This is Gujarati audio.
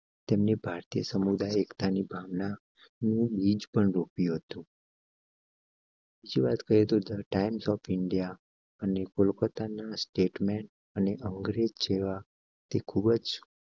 તેમને ભારતીય સમુદાય એકતા ની ભાવના બીજ પણ રૂપિયો તો. ઝી વાત કરીએ તો ટાઇમ્સ ઑફ ઇન્ડિયા અને કોલકાતા ના સ્ટેટમેન્ટ અને અંગ્રેજી જેવા તે ખુબજ.